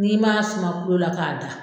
N'i ma sen bɔ ko la k'a da.